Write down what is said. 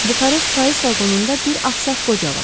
Buxarest payız vaqonunda bir ağsaq qoca var.